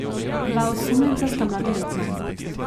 Dva osumljenca sta mladoletna.